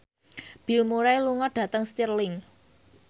Bill Murray lunga dhateng Stirling